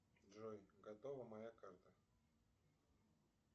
джой готова моя карта